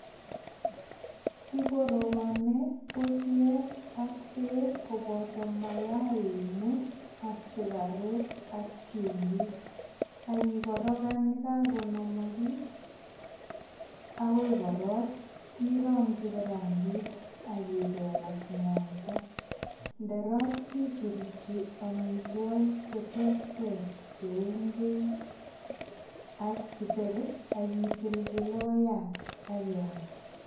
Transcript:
Kigorogoni pusiek ak beek koboto mayainik aksukaruk ak chumbik ak ikorogan, yekakonamagis agoi korot irongchi kirangit ak ibel ak mwaita. Ndorok isurukchi amitwogik cheterter cheu ingwek ak githeri ak itilchi logoyat ak iyam.